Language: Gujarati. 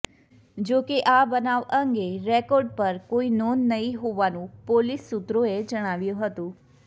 જો કે આ બનાવ અંગે રેકર્ડ પર કોઇ નોંધ નહી હોવાનું પોલીસ સૂત્રોએ જણાવ્યું હતું